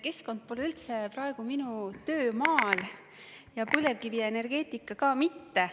Keskkond pole üldse praegu minu töömaal ja põlevkivienergeetikaga ka mitte.